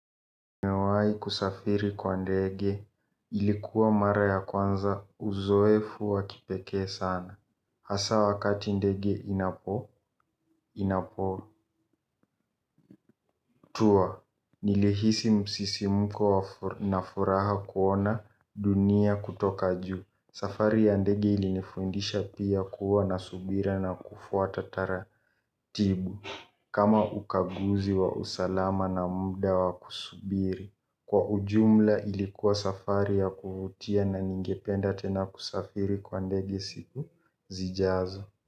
Nimewahi kusafiri kwa ndege ilikuwa mara ya kwanza uzoefu wa kipekee sana. Hasa wakati ndege inapo tua, nilihisi msisimko na furaha kuona dunia kutoka juu. Safari ya ndege ilinifundisha pia kuwa na subira na kufuata taratibu. Kama ukaguzi wa usalama na muda wa kusubiri. Kwa ujumla ilikuwa safari ya kuvutia na ningependa tena kusafiri kwa ndegi siku zijazo.